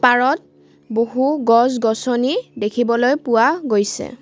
পাৰত বহু গছ-গছনি দেখিবলৈ পোৱা গৈছে।